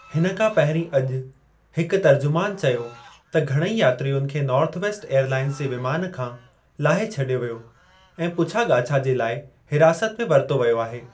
हिन खां पहिरीं अॼु, हिकु तर्जुमानु चयो त घणेई यात्रियुनि खे नॉर्थवेस्ट एयरलाइंस जे विमान खां लाहे छडि॒यो वियो ऐं पूछा- ॻाछा जे लाइ हिरासत में वरितो वयो आहे।